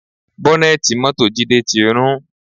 Bọ́nẹ̀tì mọ́tò Jide ti rún